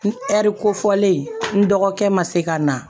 Ɛri kofɔlen n dɔgɔkɛ ma se ka na